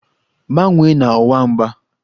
Gbanwee na ọwa mgba!